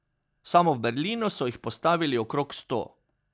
Samo v Berlinu so jih postavili okrog sto.